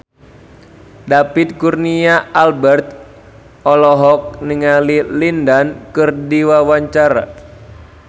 David Kurnia Albert olohok ningali Lin Dan keur diwawancara